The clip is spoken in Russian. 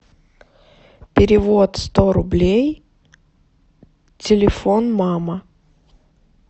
перевод сто рублей телефон мама